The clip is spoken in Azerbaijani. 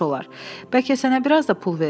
Bəlkə sənə biraz da pul verim?